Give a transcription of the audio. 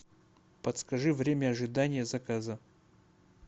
подскажи время ожидания заказа